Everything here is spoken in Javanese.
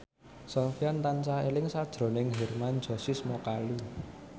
Sofyan tansah eling sakjroning Hermann Josis Mokalu